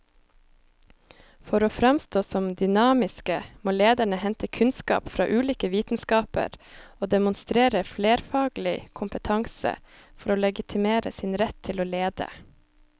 For å framstå som dynamiske må lederne hente kunnskap fra ulike vitenskaper og demonstrere flerfaglig kompetanse for å legitimere sin rett til å lede.